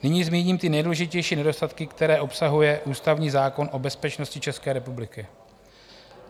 Nyní zmíním ty nejdůležitější nedostatky, které obsahuje ústavní zákon o bezpečnosti České republiky.